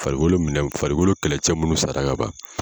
Farikolo minɛw farikolo kɛlɛcɛ minnu sara ka ban.